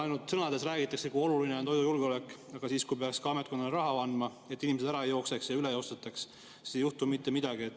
Ainult sõnades räägitakse, kui oluline on toidujulgeolek, aga siis, kui peaks ametkonnale ka raha andma, et inimesed ära ei jookseks ja ei üle ostetaks, siis ei juhtu mitte midagi.